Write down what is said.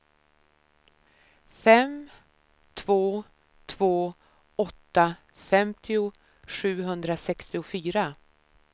fem två två åtta femtio sjuhundrasextiofyra